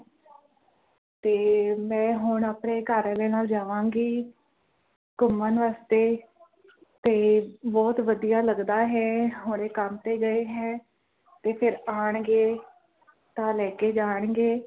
ਤੇ ਮੈਂ ਹੁਣ ਆਪਣੇ ਘਰ ਆਲੇ ਨਾਲ ਜਾਵਾਂਗੀ ਘੁੰਮਣ ਵਾਸਤੇ ਤੇ ਬੋਹੋਤ ਵਧੀਆ ਲੱਗਦਾ ਹੈ ਹੁਣੇ ਕੰਮ ਤੇ ਗਏ ਹੈ ਤੇ ਫਿਰ ਆਣਗੇ ਤੇ ਲੈ ਕੇ ਜਾਣਗੇ